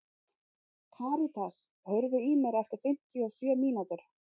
Karítas, heyrðu í mér eftir fimmtíu og sjö mínútur.